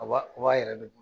O b'a o b'a yɛrɛ de bolo